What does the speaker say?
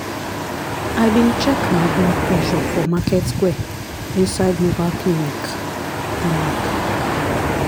i bin check my blood pressure for market square inside mobile clinic. clinic.